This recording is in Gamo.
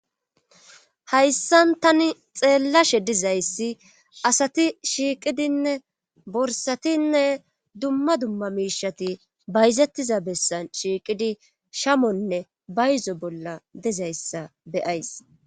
Hayssan tani xeellashe dizayssi asati shiiqidinne borsatinne dumma dumma miishati bayzettiza bessan shiiqidi shamonne bayzo bolla dizayssa beyays.